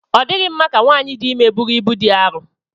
Ọ dịghị mma ka nwanyị dị ime búrú ịbú dị arọ